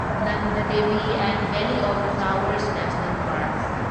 Nanda Devi and Valley of Flowers National parks